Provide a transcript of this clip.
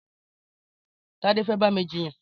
Tade fè bà mi jiyàn